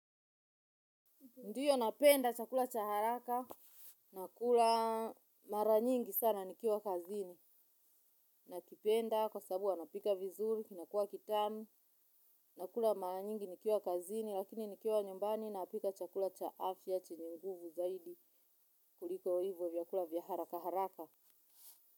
Ndiyo napenda chakula cha haraka, nakula mara nyingi sana nikiwa kazini, nakipenda kwa sababu wanapika vizuri, kinakua kitamu, nakula mara nyingi nikiwa kazini, lakini nikiwa nyumbani napika chakula cha afya chenye nguvu zaidi kuliko hivo vyakula vya haraka haraka.